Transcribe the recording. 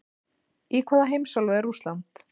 Í hvaða heimsálfu er Rússland?